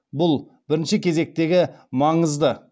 бұл бірінші кезектегі маңызды